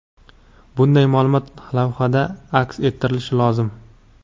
Bunday maʼlumot lavhada aks ettirilishi lozim.